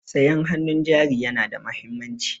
Sayan hannun jari yana da mahimmanci.